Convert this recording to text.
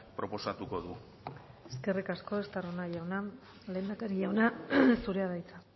proposatuko du eskerrik asko estarrona jauna lehendakari jauna zurea da hitza